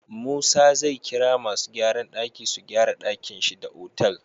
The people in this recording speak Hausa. Musa zai kira masu gyran daki su gyara dakin shi da otal